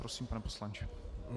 Prosím, pane poslanče.